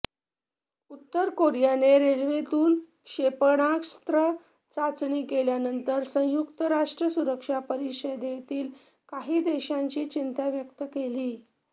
उत्तर कोरियाने रेल्वेतून क्षेपणास्त्र चाचणी केल्यानंतर संयुक्त राष्ट्र सुरक्षा परिषदेतील काही देशांनी चिंता व्यक्त केली